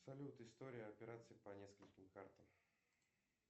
салют история операций по нескольким картам